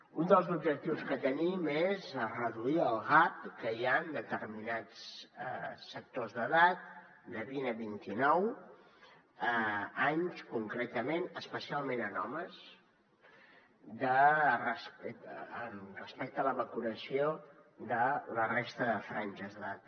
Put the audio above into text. un dels objectius que tenim és reduir el gap que hi ha en determinats sectors d’edat de vint a vint i nou anys concretament especialment en homes respecte a la vacunació de la resta de franges d’edat